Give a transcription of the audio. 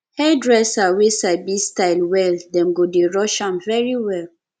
hairdresser wey sabi style well dem go dey rush am very well